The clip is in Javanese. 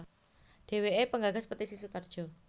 Dheweke penggagas Petisi Sutarjo